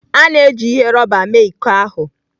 A na-eji ihe rọba mee iko ahụ.